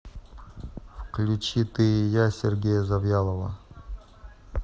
включи ты и я сергея завьялова